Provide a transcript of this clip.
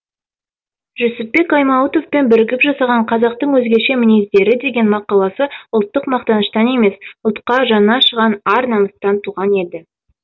жүсіпбек аймауытовпен бірігіп жазған қазақтың өзгеше мінездері деген мақаласы ұлттық мақтаныштан емес ұлтқа жаны ашыған ар намыстан туған еді